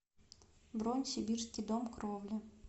бронь сибирский дом кровли